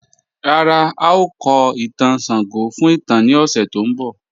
Ràrá, ào kò ìtàn Ṣàngó fún ìtàn ni òṣè tó n bọ̀.